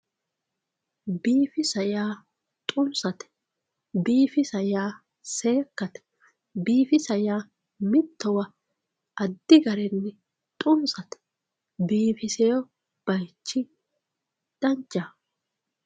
Biifissa yaa xunsate ,biifissa yaa seekkate, biifissa yaa mittowa addi garinni xunsate biifisewo bayichi danchaho.